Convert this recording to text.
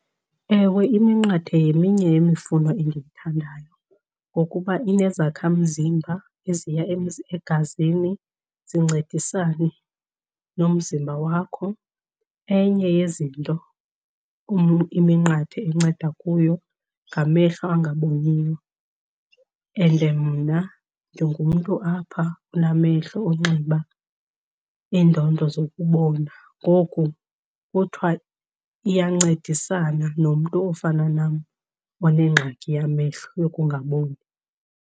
Ewe, iminqathe yeminye yemifuno endiyithandayo ngokuba inezakhamzimba eziya egazini zincedisane nomzimba wakho. Enye yezinto iminqathe enceda kuyo ngamehlo angaboniyo and mna ndingumntu apha onamehlo onxiba iindondo zokubona. Ngoku kuthiwa iyancedisana nomntu ofana nam onengxaki yamehlo yokungaboni.